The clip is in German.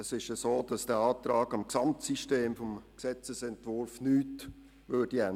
Es ist so, dass dieser Antrag am Gesamtsystem des Gesetzesentwurfs nichts ändern würde.